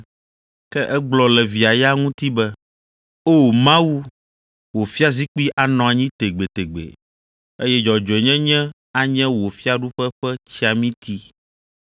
Ke egblɔ le via ya ŋuti be, “O, Mawu, wò fiazikpui anɔ anyi tegbetegbe, eye dzɔdzɔnyenye anye wò fiaɖuƒe ƒe tsiamiti.